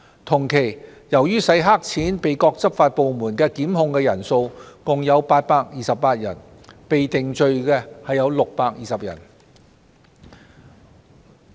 同一期間，由於洗黑錢被各執法部門檢控的共有828人，被定罪的則有620人。